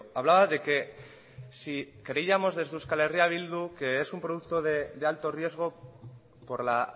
hablaba de que si creíamos desde euskal herria bildu que es un producto de alto riesgo por la